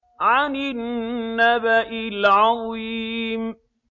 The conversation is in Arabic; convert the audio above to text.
عَنِ النَّبَإِ الْعَظِيمِ